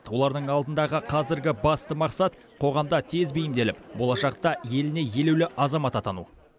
олардың алдындағы қазіргі басты мақсат қоғамда тез бейімделіп болашақта еліне елеулі азамат атану